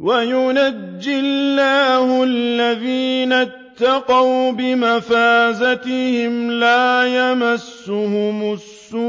وَيُنَجِّي اللَّهُ الَّذِينَ اتَّقَوْا بِمَفَازَتِهِمْ لَا يَمَسُّهُمُ السُّوءُ